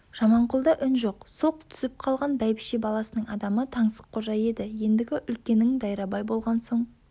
жаманқұлда үн жоқ сұлқ түсіп қалған бәйбіше баласының адамы таңсыққожа еді ендігі үлкенің дайрабай болған соң